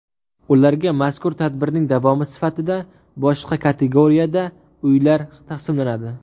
Ularga mazkur tadbirning davomi sifatida boshqa kategoriyada uylar taqsimlanadi.